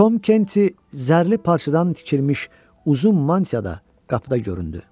Tom Kenti zərli parçadan tikilmiş uzun mantiyada qapıda göründü.